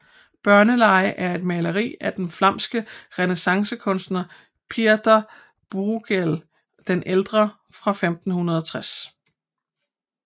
Børnelege er et maleri af den flamske renæssancekunstner Pieter Bruegel den ældre fra 1560